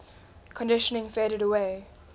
conditioning faded away